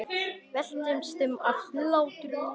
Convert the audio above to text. Veltist um af hlátri.